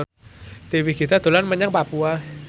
Dewi Gita dolan menyang Papua